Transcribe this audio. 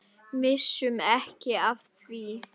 Missum ekki af því.